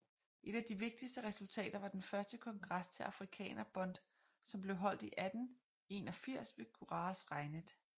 Et af de vigtigste resultater var den første kongres til Afrikaner Bond som blev afholdt i 1881 ved Graaf Reinet